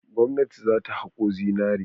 Gwamnati za ta haƙo zinare.